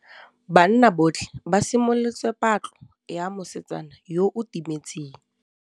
Banna botlhê ba simolotse patlô ya mosetsana yo o timetseng.